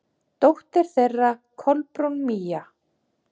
Dóttir þeirra: Kolbrún Mía.